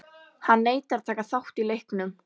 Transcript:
Hann neitar að taka þátt í leiknum.